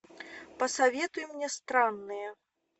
посоветуй мне странные